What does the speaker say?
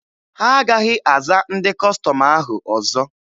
Ha agaghị aza ndị Kọstọm ahụ ọzọ.